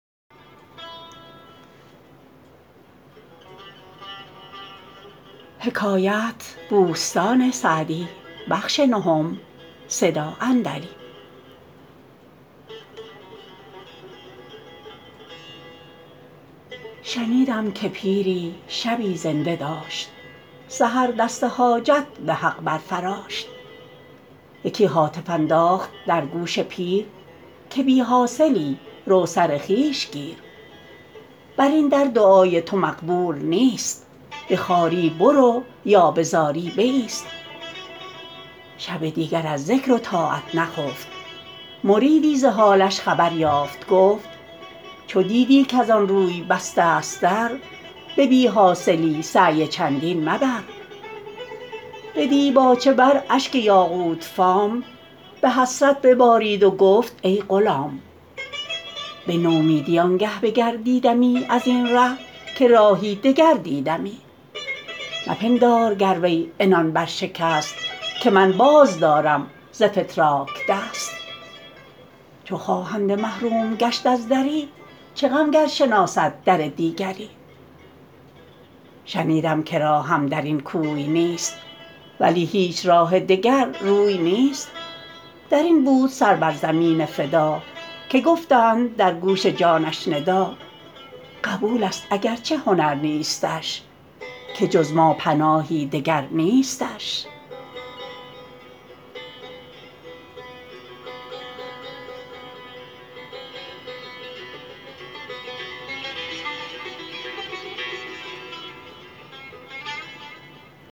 شنیدم که پیری شبی زنده داشت سحر دست حاجت به حق بر فراشت یکی هاتف انداخت در گوش پیر که بی حاصلی رو سر خویش گیر بر این در دعای تو مقبول نیست به خواری برو یا به زاری بایست شب دیگر از ذکر و طاعت نخفت مریدی ز حالش خبر یافت گفت چو دیدی کز آن روی بسته ست در به بی حاصلی سعی چندین مبر به دیباچه بر اشک یاقوت فام به حسرت ببارید و گفت ای غلام به نومیدی آنگه بگردیدمی از این ره که راهی دگر دیدمی مپندار گر وی عنان بر شکست که من باز دارم ز فتراک دست چو خواهنده محروم گشت از دری چه غم گر شناسد در دیگری شنیدم که راهم در این کوی نیست ولی هیچ راه دگر روی نیست در این بود سر بر زمین فدا که گفتند در گوش جانش ندا قبول است اگر چه هنر نیستش که جز ما پناهی دگر نیستش